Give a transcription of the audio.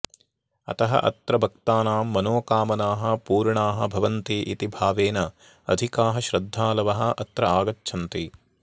अतः अत्र भक्तानां मनोकामनाः पूर्णाः भवन्ति इति भावेन अधिकाः श्रद्धालवः अत्र आगच्छन्ति